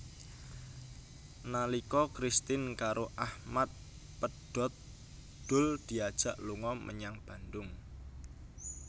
Nalika Kristin karo Achmad pedhot Doel diajak lunga menyang Bandung